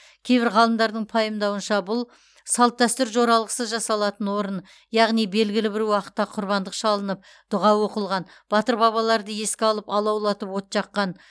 кейбір ғалымдардың пайымдауынша бұл салт дәстүр жоралғысы жасалатын орын яғни белгілі бір уақытта құрбандық шалынып дұға оқылған батыр бабаларды еске алып алаулатып от жаққан